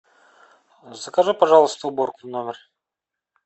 закажи пожалуйста уборку в номер